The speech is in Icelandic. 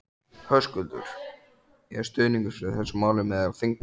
Höskuldur: Er stuðningur fyrir þessu máli meðal þingmanna?